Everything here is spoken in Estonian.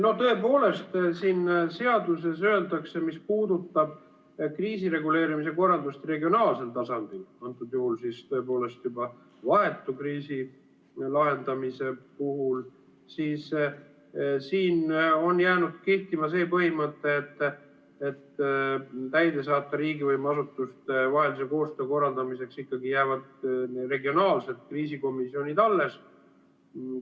No tõepoolest, siin seaduses öeldakse, mis puudutab kriisireguleerimise korraldust regionaalsel tasandil, antud juhul juba vahetu kriisi lahendamise puhul, siis siin on jäänud kehtima see põhimõte, et täidesaatva riigivõimu asutuste vahelise koostöö korraldamiseks ikkagi jäävad regionaalsed kriisikomisjonid alles.